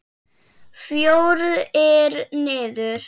Fjórir niður.